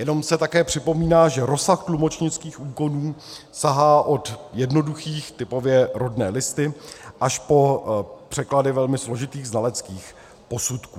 Jenom se také připomíná, že rozsah tlumočnických úkonů sahá od jednoduchých, typově rodné listy, až po překlady velmi složitých znaleckých posudků.